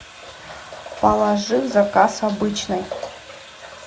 положи в заказ обычной